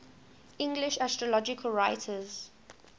english astrological writers